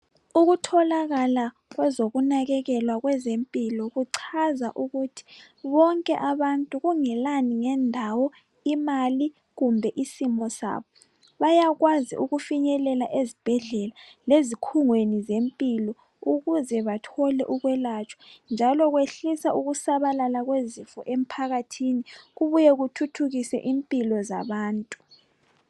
Ukutholaka kwezokunakekelwa kwezempilo kuchaza ukuthi bonke abantu kungelani ngendawo , imali kumbe isimo sabo bayakwazi ukufinyelela ezibhedlela lezikhungweni zempilo ukuze bathole ukwelatshwa njalo kwehlisa ukusabalala kwezifo emphakathini , kubuye kuthuthukise impilo zabantu